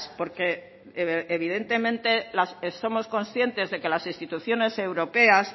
porque evidentemente somos conscientes de que las instituciones europeas